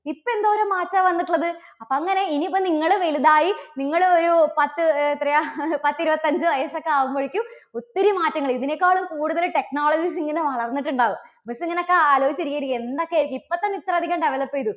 ഇപ്പോ എന്തോരം മാറ്റാ വന്നിട്ടുള്ളത്. അപ്പോ അങ്ങനെ ഇനി ഇപ്പോ നിങ്ങള് വലുതായി നിങ്ങള് ഒരു പത്ത് എത്രയാ പത്തിരുപത്തഞ്ച് വയസ്സ് ഒക്കെ ആകുമ്പോഴേക്കും ഒത്തിരി മാറ്റങ്ങള് ഇതിനേക്കാളും കൂടുതല് technologies ഇങ്ങനെ വളർന്നിട്ടുണ്ടാകും. miss ഇങ്ങനെയൊക്കെ ആലോചിച്ച് ഇരിക്കുകയായിരിക്കും. എന്തൊക്കെയായിരിക്കും ഇപ്പോൾതന്നെ ഇത്രയധികം develop ചെയ്തു